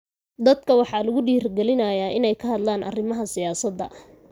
Dadka waxaa lagu dhiirigelinayaa inay ka hadlaan arrimaha siyaasadda.